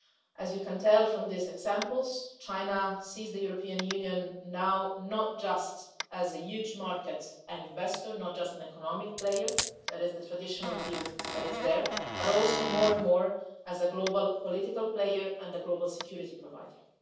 As you can tell from these examples, China sees the European Union now not just as a huge market and an investor, not just an economic player the traditional view but also increasingly as a global political player and a global security provider.